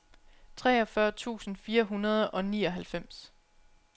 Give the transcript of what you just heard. treogfyrre tusind fire hundrede og nioghalvfems